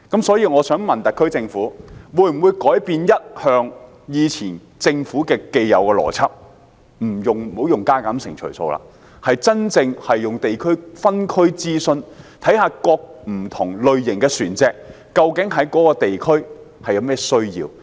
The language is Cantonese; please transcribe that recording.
所以，我想問特區政府，會否改變政府既有的邏輯，不再用加減乘除數，而是真正進行地區、分區諮詢，檢視不同類型的船隻，究竟在各區有何需要？